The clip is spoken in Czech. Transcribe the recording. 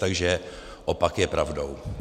Takže opak je pravdou.